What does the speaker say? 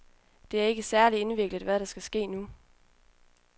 Det er ikke særlig indviklet, hvad der skal ske nu.